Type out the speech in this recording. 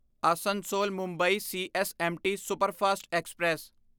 Asansol Mumbai CSMT superfast express